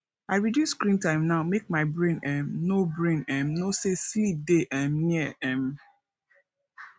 i reduce screen time now make my brain um know brain um know say sleep dey um near um